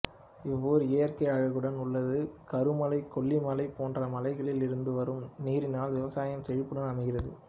இவ்வூர் இயற்கை அழகுடன் உள்ளது கருமலை கொல்லிமலை போன்ற மலைகளில் இருந்துவரும் நீரினால் விவசாயம் செழிப்புடன் அமைகிறது